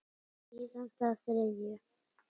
Síðan þá þriðju.